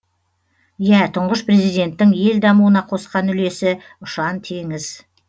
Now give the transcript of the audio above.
иә тұңғыш президенттің ел дамуына қосқан үлесі ұшан теңіз